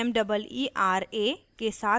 * meera के साथ meera